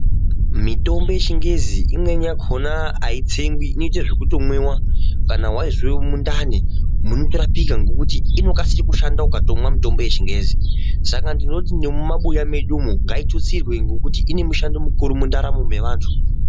Mitombo yechingezi imweni yakhona aitsengwi inoite zvekutomwiwa. Kana waizwe mundani munotorapika ngekuti inokasire kushanda ukatomwa mitombo yechingezi saka ndinoti nemumabuya mwedumwo ngaitutsirwe ngekuti ine mushando mukuru muntaramo mwevantu.